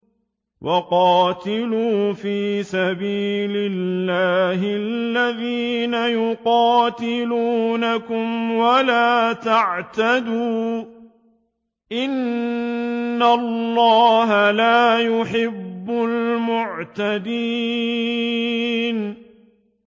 وَقَاتِلُوا فِي سَبِيلِ اللَّهِ الَّذِينَ يُقَاتِلُونَكُمْ وَلَا تَعْتَدُوا ۚ إِنَّ اللَّهَ لَا يُحِبُّ الْمُعْتَدِينَ